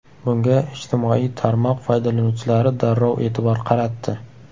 Bunga ijtimoiy tarmoq foydalanuvchilari darrov e’tibor qaratdi.